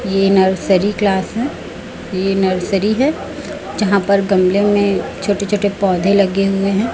ये nursery class है ये नर्सरी है जहां पर गमले में छोटे छोटे पौधे लगे हुए हैं।